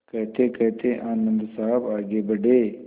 कहतेकहते आनन्द साहब आगे बढ़े